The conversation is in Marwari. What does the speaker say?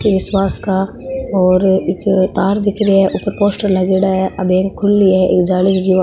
केस वास का और एक तार दिख रहे है ऊपर पोस्टर लागेड़ा है आ बैंक खुली है एक जाली --